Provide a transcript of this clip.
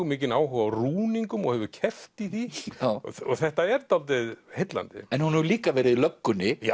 mikinn áhuga á rúningum og hefur keppt í því og þetta er dálítið heillandi en hún hefur líka verið í löggunni